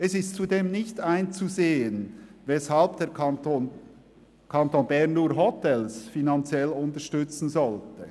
Es ist zudem nicht einzusehen, weshalb der Kanton Bern nur Hotels finanziell unterstützen sollte.